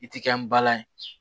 I ti kɛ n bala ye